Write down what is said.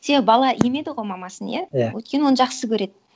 себебі бала емеді ғой мамасын иә өйткені оны жақсы көреді